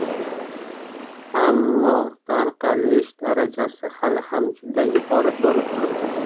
Ammo tarqalish darajasi hali ham juda yuqori bo‘lib turibdi.